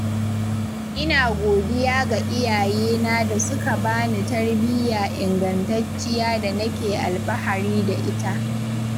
Ina godiya ga iyayena da suka bani tarbiyya ingantacciya da nake alfahari da ita.